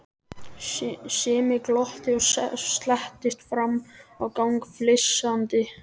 Simmi glotti og slettist fram á gang flissandi.